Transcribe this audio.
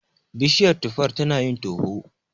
Bishiyar tufar tanayin toho.